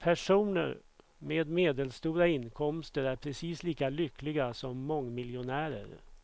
Personer med medelstora inkomster är precis lika lyckliga som mångmiljonärer.